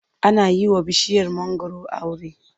Ana yi wa bishiyar mangwaro aure.